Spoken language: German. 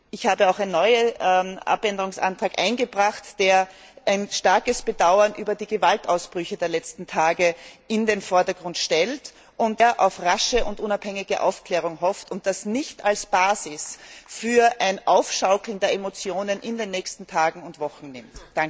Ich habe auch einen neuen Änderungsantrag eingebracht, der ein starkes Bedauern über die Gewaltausbrüche der letzten Tage in den Vordergrund stellt, sehr auf rasche und unabhängige Aufklärung hofft und das nicht als Basis für ein Aufschaukeln der Emotionen in den nächsten Tagen und Wochen nimmt.